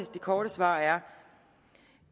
korte svar er